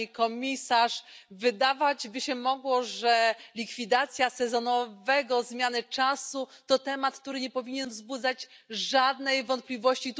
Pani Komisarz! Wydawać by się mogło, że likwidacja sezonowej zmiany czasu to temat, który nie powinien wzbudzać żadnych wątpliwości.